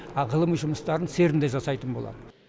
а ғылыми жұмыстарын церн де жасайтын болады